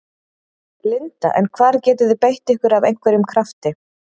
Linda: En hvar getið þið beitt ykkur af einhverjum krafti?